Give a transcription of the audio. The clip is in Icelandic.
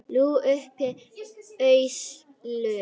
Lúlli yppti öxlum.